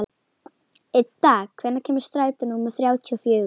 Idda, hvenær kemur strætó númer þrjátíu og fjögur?